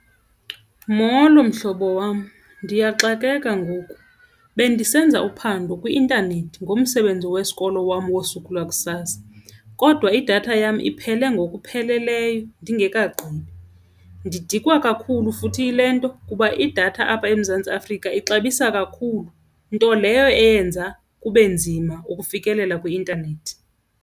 Molo mhlobo wam, ndiyaxakeka ngoku. Bendisenza uphando kwi-intanethi ngomsebenzi wesikolo wam wosuku lakusasa kodwa idatha yam iphele ngokupheleleyo ndingekagqibi ndidikiwa kakhulu futhi yile nto kuba idatha apha eMzantsi Afrika ixabisa kakhulu, nto leyo eyenza kube nzima ukufikelela kwi-intanethi.